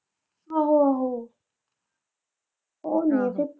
ਆਹੋ ਆਹੋ ਓਹੀ ਹੈ ਫ਼ਿਰ।